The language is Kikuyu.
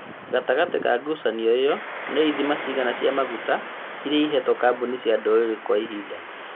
Gatagatĩ ka ngucanio iyo nĩ ithima cigana cia maguta iria ĩhetwo kambuni cia ndũrĩrĩ kwa ihinda